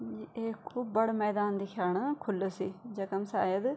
यु एक खूब बडू मैदान दिख्येणु खुलू सी जखम शायद --